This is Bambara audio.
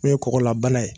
N'o ye kɔgɔlanbana ye